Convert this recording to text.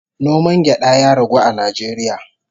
Noman gyada ya ragu a Najeriya